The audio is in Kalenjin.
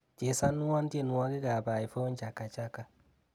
Chesanwon tyenwogikab Ivonne Chaka Chaka